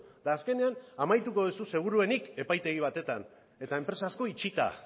eta azkenean amaituko duzu seguruenik epaitegi batean eta enpresa asko itxita